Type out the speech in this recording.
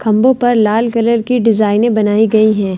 खम्भों पर लाल कलर की डिज़ाइने बनाई गई है।